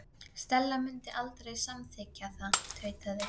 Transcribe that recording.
Stella mundi aldrei samþykkja það- tautaði